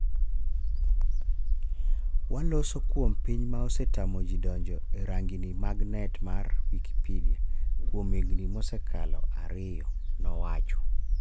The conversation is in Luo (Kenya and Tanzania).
waloso kuom piny ma osetamoji donjo e rang'ini mag net mar Wikipidea. kuom higni mosekalo ariyo' nowacho